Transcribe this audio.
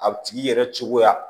A tigi yɛrɛ cogoya